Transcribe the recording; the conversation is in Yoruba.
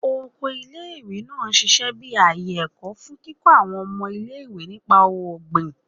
Oko ile-iwe naa n ṣiṣẹ bi aaye ẹkọ, fun kikọ awọn ọmọ ile-iwe nipa ogbin